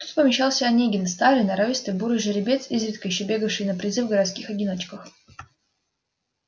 тут помещался онегин старый норовистый бурый жеребец изредка ещё бегавший на призы в городских одиночках